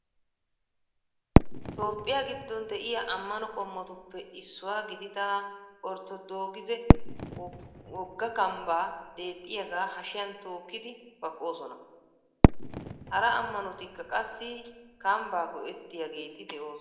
Toophphiya giddon de"iyaa ammano qommotuppe issuwa gidida orttodoogise wogga kambaa deexxiyaagaa hashiyan tookkidi baqqoosona. Hara ammanotikka qassi kambba go"ettiyaageeti de'oosona.